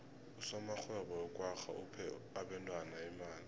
usomarhwebo wekwagga uphe abentwana imali